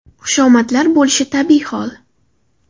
Xushomadlar bo‘lishi tabiiy hol.